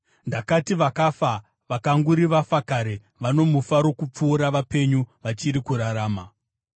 Ndakati vakafa, vakanguri vafa kare, vano mufaro kupfuura vapenyu, vachiri kurarama.